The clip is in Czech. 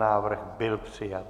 Návrh byl přijat.